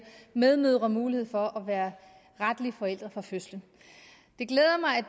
medmødre mulighed for at være retlige forældre fra fødslen